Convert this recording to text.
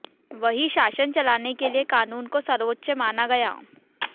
वहीं शासन चलाने के लिए कानून को सर्वोच्च माना गया